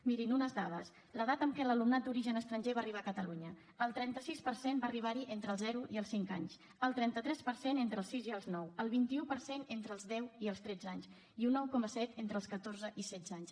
mirin unes dades l’edat amb què l’alumnat d’origen estranger va arribar a catalunya el trenta sis per cent va arribar hi entre els zero i els cinc anys el trenta tres per cent entre els sis i els nou el vint un per cent entre els deu i els tretze anys i un nou coma set entre els catorze i els setze anys